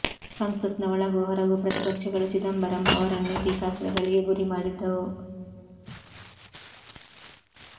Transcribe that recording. ಸಂಸತ್ನ ಒಳಗೂ ಹೊರಗೂ ಪ್ರತಿಪಕ್ಷಗಳು ಚಿದಂಬರಂ ಅವರನ್ನು ಟೀಕಾಸ್ತ್ರಗಳಿಗೆ ಗುರಿ ಮಾಡಿದ್ದವು